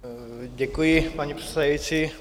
Děkuji, paní předsedající.